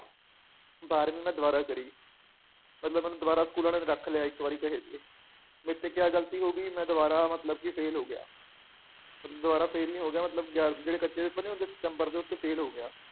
ਬਾਰ੍ਹਵੀਂ ਮੈ ਦੋਬਾਰਾ ਕਰੀ ਮਤਲਬ ਮੈਨੂੰ ਦੋਬਾਰਾ ਸਕੂਲ ਵਾਲਿਆਂ ਨੇ ਰੱਖ ਲਿਆ ਇਕ ਵਾਰੀ ਕਹੇ ਤੇ ਮੇਰਤੇ ਕਯਾ ਗਲਤੀ ਹੋਗੀ ਮੈ ਦੋਬਾਰਾ ਮਤਲਬ ਕਿ fail ਹੋ ਗਿਆ ਦੋਬਾਰਾ fail ਨੀ ਹੋ ਗਿਆ ਮਤਲਨ ਗਿਆ ਜਿਹੜੇ ਕੱਚੇ ਪੇਪਰ ਨੀ ਹੁੰਦੇ ਸਤਮ੍ਬਰ ਦੇ ਉਸ ਚ fail ਹੋ ਗਿਆ